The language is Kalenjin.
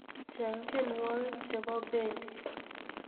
Cheng tiewogik chebo Bendi